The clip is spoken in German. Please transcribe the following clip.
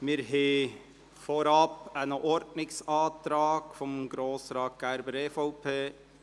Wir haben als Erstes einen Ordnungsantrag von Grossrat Gerber, EVP.